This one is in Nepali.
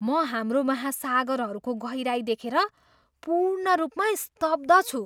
म हाम्रो महासागरहरूको गहिराइ देखेर पूर्ण रूपमा स्तब्ध छु!